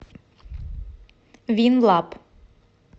винлаб